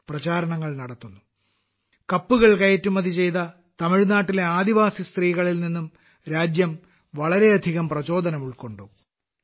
അതുപോലെ ആയിരക്കണക്കിന് പരിസ്ഥിതി സൌഹൃദ ടെറാക്കോട്ട കപ്പുകൾ കയറ്റുമതി ചെയ്ത തമിഴ്നാട്ടിലെ ആദിവാസി സ്ത്രീകളിൽ നിന്നും രാജ്യം വളരെയധികം പ്രചോദനം ഉൾക്കൊണ്ടു